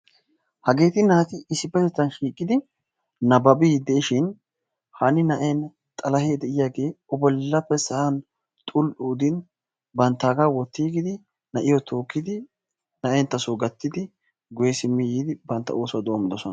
Hageeti naati issippetettan shiiqidi nabbabiiddi diishin hanni na'een xalahee de'iyagee O bollappe sa'an xul"u udin banttaagaa wottigiidi na'iyo tookkidi na'enttaso gattidi guye simmi yiidi bantta oosuwa doommidoson.